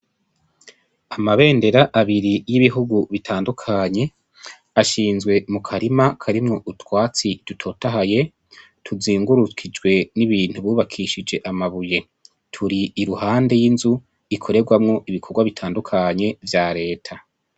Amabendera abiri yibihugu bitandukanye ashinzwe mukarima karimwo utwatsi dutotahaye tuzungurukishijwe n'ibintu bubakishije amabuye, turi iruhande y'inzu ikorerwamwo ibikorwa bitandukanye vya leta.